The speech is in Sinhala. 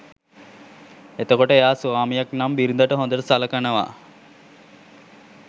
එතකොට එයා ස්වාමියෙක් නම් බිරිඳට හොඳට සලකනවා